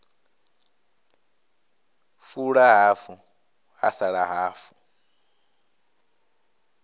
fula hafu ha sala hafu